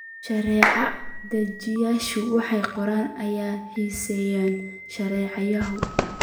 Sharci-dejiyayaashu waxay qoraan oo ansixiyaan sharciyo.